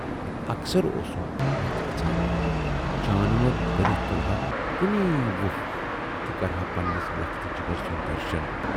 اکثر اوسُم متھ گَژھان، جانور بٔنِتھ تُلہٕ ہا کُنی وُپھ تہٕ کرٕہا پنہٕ نِس لخت ِ جِگر سُند درشُن۔